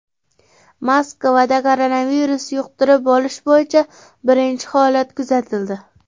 Moskvada koronavirus yuqtirib olish bo‘yicha birinchi holat kuzatildi.